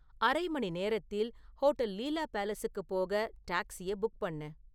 அரை மணி நேரத்தில் ஹோட்டல் லீலா பேலஸுக்குப் போக டாக்ஸியை புக் பண்ணு